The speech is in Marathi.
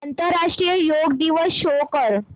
आंतरराष्ट्रीय योग दिवस शो कर